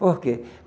Por quê?